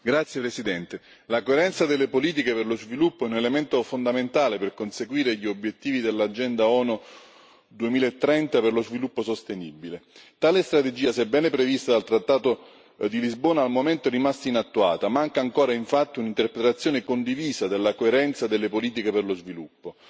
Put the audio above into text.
Signor Presidente, onorevoli colleghi, la coerenza delle politiche per lo sviluppo è un elemento fondamentale per conseguire gli obiettivi dell'agenda ONU 2030 per lo sviluppo sostenibile. Tale strategia, sebbene prevista dal trattato di Lisbona, al momento è rimasta inattuata. Manca ancora, infatti, un'interpretazione condivisa della coerenza delle politiche per lo sviluppo.